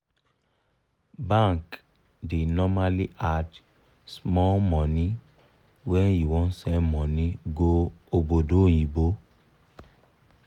bank da normally add small money when u wan send money go obodoyibo